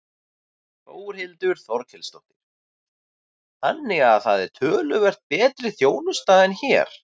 Þórhildur Þorkelsdóttir: Þannig að það er töluvert betri þjónusta en hér?